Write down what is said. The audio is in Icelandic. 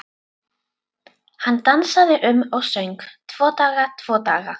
Hann dansaði um og söng: Tvo daga, tvo daga